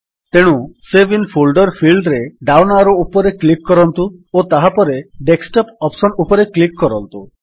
ତେଣୁ save in folder ଫିଲ୍ଡରେ down arrow ଉପରେ କ୍ଲିକ୍ କରନ୍ତୁ ଓ ତାହାପରେ ଡେସ୍କଟପ୍ ଅପ୍ସନ୍ ଉପରେ କ୍ଲିକ୍ କରନ୍ତୁ